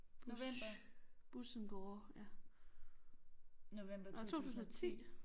Bush Bus and Gore ja. Nåh 2010